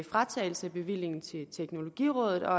fratagelse af bevillingen til teknologirådet og